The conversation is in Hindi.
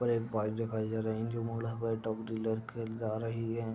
और एक बाइक दिखाई दे रही है। जो जा रही है।